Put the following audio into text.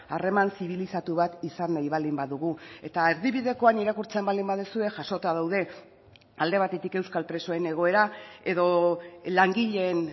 harreman zibilizatu bat izan nahi baldin badugu eta erdibidekoan irakurtzen baldin baduzue jasota daude alde batetik euskal presoen egoera edo langileen